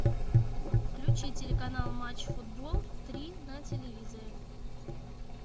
включи телеканал матч футбол три на телевизоре